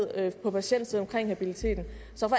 på patientsiden omkring habiliteten